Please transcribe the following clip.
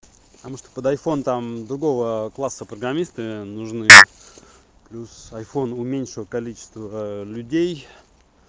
потому что под айфон там другого класса программисты нужны псюс айфон уменьшил количество людей